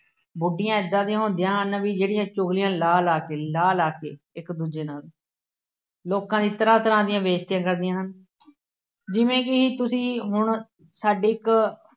ਬੁੱਢੀਆਂ ਏਦਾਂ ਦੀਆਂ ਹੁੰਦੀਆਂ ਹਨ ਬਈ ਜਿਹੜੀਆਂ ਚੁਗਲੀਆਂ ਲਾ ਲਾ ਕੇ, ਲਾ ਲਾ ਕੇ ਇੱਕ ਦੂਜੇ ਨਾਲ ਲੋਕਾਂ ਦੀਆਂ ਤਰ੍ਹਾ ਤਰ੍ਹਾਂ ਦੀਆਂ ਬੇਇੱਜ਼ਤੀਆਂ ਕਰਦੀਆਂ ਹਨ। ਜਿਵੇਂ ਕਿ ਤੁਸੀਂ ਹੁਣ ਸਾਡੀ ਇੱਕ